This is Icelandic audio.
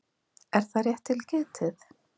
Er það rétt til getið?